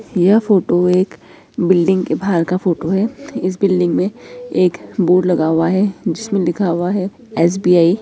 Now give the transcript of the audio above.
यह फ़ोटो एक बिल्डिंग के बाहर का फ़ोटो है इस बिल्डिंग मे एक बोर्ड लगा हुआ है जिसमे लिखा हुआ है एस.बी.आई. ।